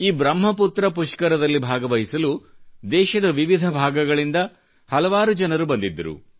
ಈ ಬ್ರಹ್ಮ ಪುತ್ರ ಪುಷ್ಕರ ದಲ್ಲಿ ಭಾಗವಹಿಸಲು ದೇಶದ ವಿವಿಧ ಭಾಗಗಳಿಂದ ಹಲವಾರು ಜನರು ಬಂದಿದ್ದರು